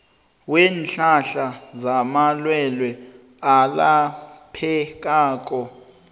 weenhlahla zamalwelwe alaphekako